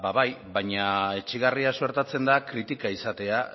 ba bai baina etsigarria suertatzen da kritika izatea